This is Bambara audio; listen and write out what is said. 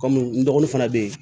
Kɔmi n dɔgɔnin fana be ye